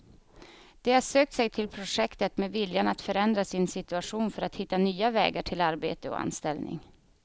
De har sökt sig till projektet med viljan att förändra sin situation för att hitta nya vägar till arbete och anställning.